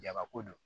Jabako do